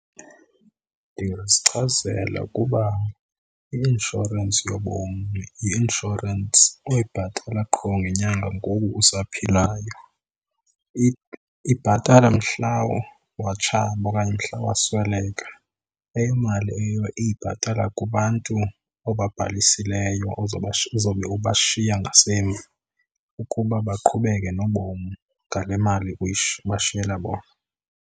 Ndingazichazela ukuba i-inshorensi yobomi yi-inshorensi oyibhatala qho ngenyanga ngoku usaphilayo. Ibhatala mhla watshaba okanye mhla wasweleka. Leyo mali leyo iyibhatala kubantu obabhalisileyo ozobe ubashiya ngasemva ukuba baqhubeke nobomi ngale mali ubashiyela bona.